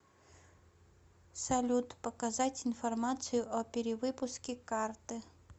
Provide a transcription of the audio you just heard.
салют показать информацию о перевыпуске карты